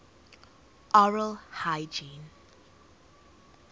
oral hygiene